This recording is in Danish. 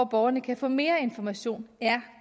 borgerne kan få mere information er